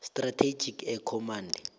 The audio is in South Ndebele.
strategic air command